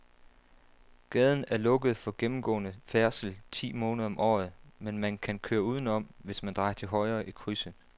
Gaden er lukket for gennemgående færdsel ti måneder om året, men man kan køre udenom, hvis man drejer til højre i krydset.